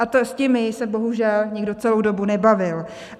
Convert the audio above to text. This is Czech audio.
A s těmi se bohužel nikdo celou dobu nebavil.